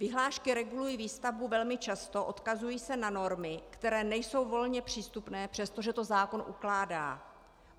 Vyhlášky regulují výstavbu velmi často, odkazují se na normy, které nejsou volně přístupné, přestože to zákon ukládá.